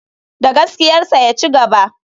Da gaskiyarsa ya cigaba.